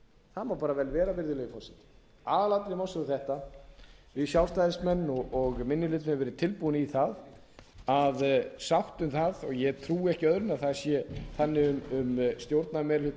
það má bara vel vera virðulegi forseti aðalatriði málsins eru þetta við sjálfstæðismenn og minni hlutinn höfum verið tilbúin í það að sátt um það og ég trúi ekki öðru en að það sé þannig um stjórnarmeirihlutann